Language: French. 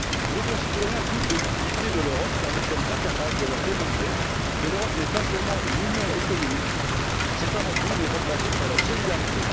Nos concitoyens doutent de l'utilité de l'Europe, car nous sommes incapables de leur démontrer que l'Europe n'est pas seulement une union économique, mais qu'elle est avant tout basée sur la solidarité.